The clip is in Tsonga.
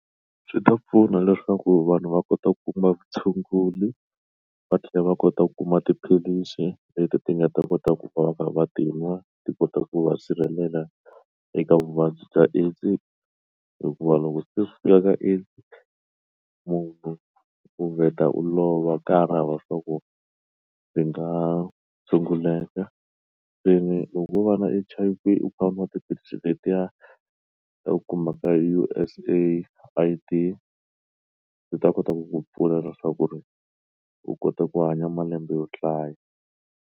Swi ta pfuna leswaku vanhu va kota ku kuma vutshunguri va tlhela va kota ku kuma tiphilisi leti ti nga ta kota ku vavatima ti kota ku va sirhelela eka vuvabyi bya AIDS hikuva loko se siya ka AIDS munhu u vheta u lova a ka hari na ku ndzi nga tshunguleka se ni loko wo va na H_I_V u kha nwa tiphilisi tetiya ta ku huma ka U_S AID ndzi ta kota ku ku pfula leswaku ri u kota ku hanya malembe yo hlaya.